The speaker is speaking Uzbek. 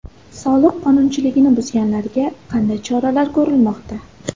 Soliq qonunchiligini buzganlarga qanday choralar ko‘rilmoqda?